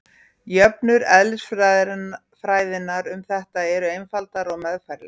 Jöfnur eðlisfræðinnar um þetta eru einfaldar og meðfærilegar.